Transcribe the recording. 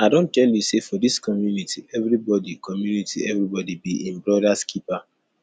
i don tell you sey for dis community everybodi community everybodi be im brodas keeper